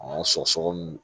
An sɔgɔsɔgɔ nunnu